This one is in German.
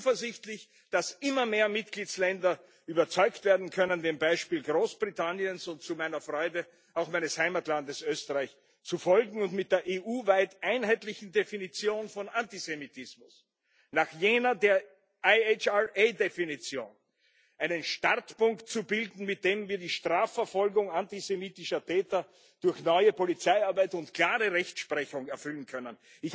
Ich bin zuversichtlich, dass immer mehr Mitgliedstaaten überzeugt werden können, dem Beispiel Großbritanniens und zu meiner Freude auch meines Heimatlandes Österreich zu folgen und mit der EU weit einheitlichen Definition von Antisemitismus, nach jener der IHRA Definition einen Startpunkt zu bilden, mit dem wir die Strafverfolgung antisemitischer Täter durch neue Polizeiarbeit und klare Rechtsprechung erfüllen können.